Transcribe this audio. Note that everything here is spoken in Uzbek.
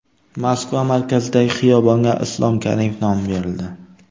Moskva markazidagi xiyobonga Islom Karimov nomi berildi.